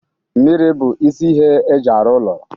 mmiri bụ isi ihe eji arụ ụlọ